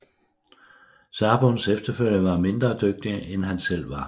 Sabuns efterfølgere var mindre dygtige end han selv var